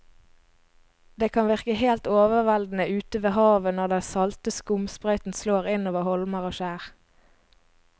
Det kan virke helt overveldende ute ved havet når den salte skumsprøyten slår innover holmer og skjær.